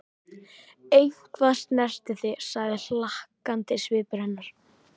Eitthvað snerti þig, sagði hlakkandi svipur hennar.